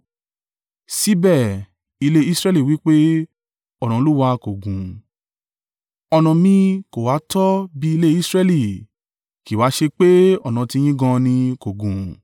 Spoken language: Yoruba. Síbẹ̀, ilé Israẹli wí pé, ‘Ọ̀nà Olúwa kò gún.’ Ọ̀nà mi kò ha tọ́ bí ilé Israẹli? Kì í wa ṣe pè ọ̀nà tiyín gan an ni ko gún?